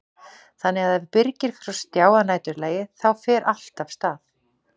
Þannig að ef Birgir fer á stjá að næturlagi þá fer allt af stað?